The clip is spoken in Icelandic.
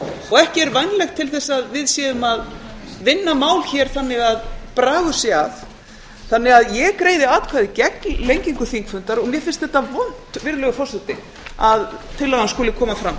og ekki er vænlegt til að við séum að vinna mál hér þannig að bragur sé að ég greiði atkvæði gegn lengingu þingfundar og mér finnst þetta vont að tillagan skuli koma fram